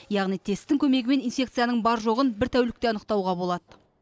яғни тесттің көмегімен инфекцияның бар жоғын бір тәулікте анықтауға болады